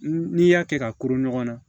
N'i y'a kɛ ka kuru ɲɔgɔn na